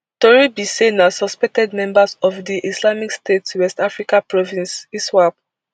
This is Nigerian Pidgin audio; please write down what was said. tori be say na suspected members of di islamic state west africa province iswap